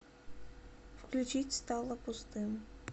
включить стало пустым